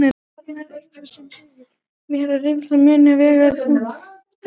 Það er eitthvað sem segir mér að reynslan muni vega þungt í London.